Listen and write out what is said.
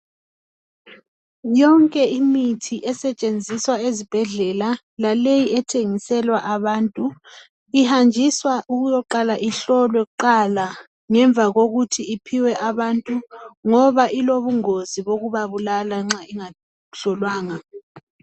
Yonke imithi esetshenziswa ezibhedlela laleyo ethengiselwa abantu, ihanjiswa ukuyaqala ihlolwe kuqala ngemva kokuthi iphiwe abantu ngoba ilobungozi bokubabulala nxa ingahlolwanga.